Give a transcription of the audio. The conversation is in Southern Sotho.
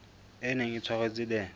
e neng e tshwaretswe the